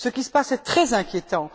Ce qui se passe est très inquiétant.